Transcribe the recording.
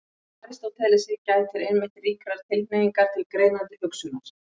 Hjá Aristótelesi gætir einmitt ríkrar tilhneigingar til greinandi hugsunar.